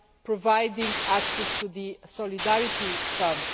providing access to the Solidarity Fund.